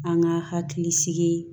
An ka hakili sigi